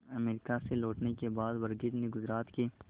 America से लौटने के बाद वर्गीज ने गुजरात के